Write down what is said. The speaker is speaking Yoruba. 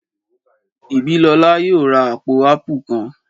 Ìbílọlá yóò ra àpò áàpù kan